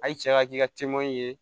A ye cɛya k'i ka ye